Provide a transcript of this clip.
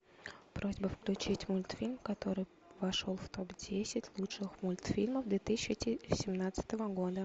просьба включить мультфильм который вошел в топ десять лучших мультфильмов две тысячи семнадцатого года